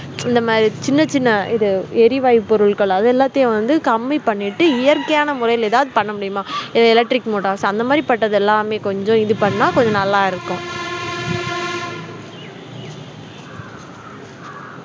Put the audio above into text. இந்த மாதிரி சின்ன சின்ன இது எரிவாயு பொருள்கள் அது எல்லாத்தையும் வந்து கம்மி பண்ணிட்டு இயற்கையான முறையில எதாவது பண்ண முடியுமா இது electric motors அந்த மாதிரிபட்டது எல்லாமே கொஞ்சம் இது பண்ணா கொஞ்சம் நல்லாயிருக்கும்